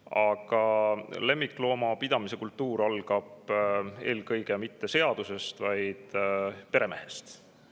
Aga lemmikloomapidamise kultuur algab mitte niivõrd seadusest, kuivõrd peremehest.